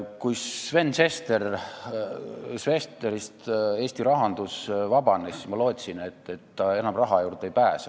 Kui Sven Sesterist Eesti rahandus vabanes, siis ma lootsin, et ta enam raha juurde ei pääse.